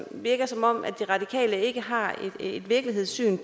virke som om radikale ikke har et virkelighedssyn